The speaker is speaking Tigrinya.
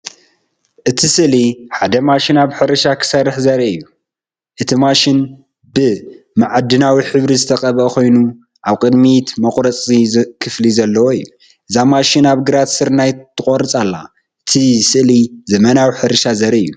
እቲ ስእሊ ሓደ ማሽን ኣብ ሕርሻ ክሰርሕ ዘርኢ እዩ። እቲ ማሽን ብማዕድናዊ ሕብሪ ዝተቐብአ ኮይኑ፡ ኣብ ቅድሚት መቑረጺ ክፍሊ ዘለዎ እዩ። እዛ ማሽን ኣብ ግራት ስርናይ ትቖርጽ ኣላ። እቲ ስእሊ ዘመናዊ ሕርሻ ዘርኢ እዩ።